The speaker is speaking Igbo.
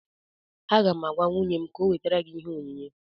Aga m agwa nwunye m ka ọ wetara gị ihe onyinye